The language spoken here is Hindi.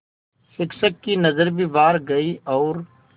शिक्षक की नज़र भी बाहर गई और